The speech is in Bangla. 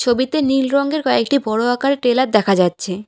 ছবিতে নীল রঙের কয়েকটি বড় আকারের টেলার দেখা যাচ্ছে।